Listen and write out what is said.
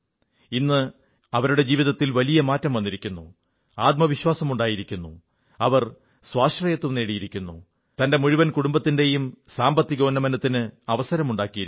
ഇന്ന് അവരുടെ ജീവിതത്തിൽ വലിയ മാറ്റം വന്നിരിക്കുന്നു ആത്മവിശ്വാസമുണ്ടായിരിക്കുന്നു അവർ സ്വാശ്രയത്വം നേടിയിരിക്കുന്നു തന്റെ മുഴുവൻ കുടുംബത്തിന്റയും സാമ്പത്തികോന്നമനത്തിന് അവസരമുണ്ടാക്കിയിരിക്കുന്നു